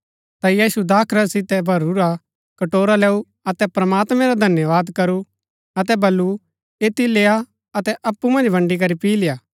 ता यीशु दाखरस सितै भरूरा कटोरा लैऊ अतै प्रमात्मैं रा धन्यवाद करू अतै बल्लू ऐतिओ लेय्आ अतै अप्पु मन्ज बन्ड़ी करी पी लेआ